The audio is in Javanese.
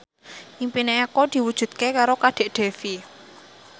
impine Eko diwujudke karo Kadek Devi